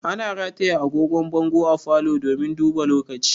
Ana rataya angogon bango a falo domin duba lokaci